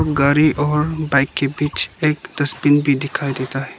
गाड़ी और बाइक के बीच एक डस्टबिन भी दिखाई देता है --